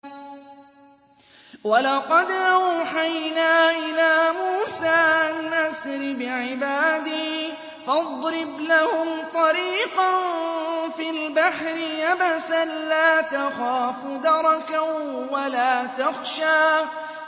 وَلَقَدْ أَوْحَيْنَا إِلَىٰ مُوسَىٰ أَنْ أَسْرِ بِعِبَادِي فَاضْرِبْ لَهُمْ طَرِيقًا فِي الْبَحْرِ يَبَسًا لَّا تَخَافُ دَرَكًا وَلَا تَخْشَىٰ